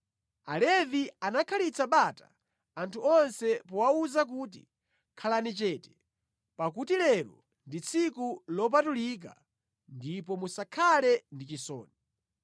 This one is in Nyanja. Alevi anakhalitsa bata anthu onse powawuza kuti, “Khalani chete, pakuti lero ndi tsiku lopatulika ndipo musakhale ndi chisoni.”